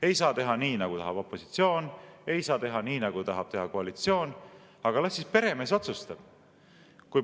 Ei saa teha nii, nagu tahab opositsioon, ei saa teha nii, nagu tahab teha koalitsioon, aga las siis peremees otsustab.